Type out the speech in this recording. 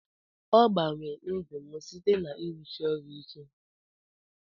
Ogbanwe ndụ m site na irusi orụ ike.